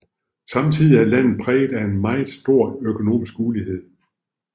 Samtidig er landet præget af en meget stor økonomisk ulighed